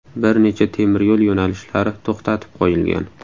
Bir necha temiryo‘l yo‘nalishlari to‘xtatib qo‘yilgan.